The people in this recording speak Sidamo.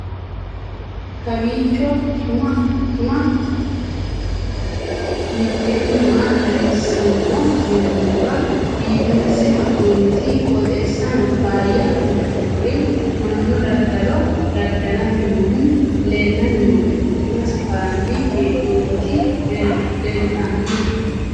kowiicho xuma mtini maa xawissanno yaannohura biifinse haa'noonniti qooxeessano faayya kultannori mannu dadalo dada'lanni noohu leellanni nooe buna safarranni hee'noonniti leeltanno